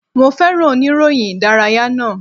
Mo féràn oníròyìn ìdárayá náà.